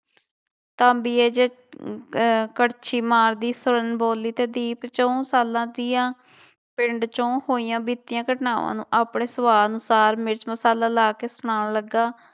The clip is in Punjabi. ਅਹ ਕੜਛੀ ਮਾਰਦੀ ਸਵਰਨ ਬੋਲੀ ਤੇੇ ਦੀਪ ਚਹੁੰ ਸਾਲਾਂ ਤੀਆਂ ਪਿੰਡ ਚੋਂ ਹੋਈਆਂ ਬੀਤੀਆਂ ਘਟਨਾਵਾਂ ਨੂੂੰ ਆਪਣੇ ਸਵਾਦ ਅਨੁਸਾਰ ਮਿਰਚ ਮਸਾਲਾ ਲਾ ਕੇ ਸੁਣਾਉਣ ਲੱਗਾ।